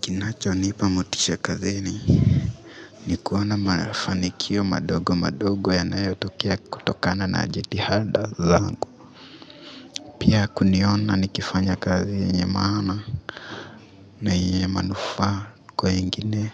Kinachonipa motisha kazini ni kuona mafanikio madogo madogo yanayotokea kutokana na jitihada zangu pia kuniona nikifanya kazi yenye maana na yenye manufaa kwa wengine